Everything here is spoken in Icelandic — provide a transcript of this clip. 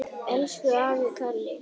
Elsku afi Kalli.